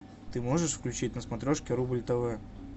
ты можешь включить на смотрешке рубль тв